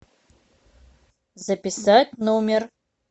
записать номер